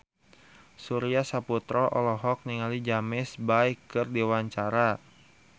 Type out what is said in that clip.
Surya Saputra olohok ningali James Bay keur diwawancara